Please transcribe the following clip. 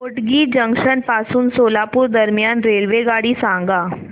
Hotgi junction पासून सोलापूर दरम्यान रेल्वेगाडी सांगा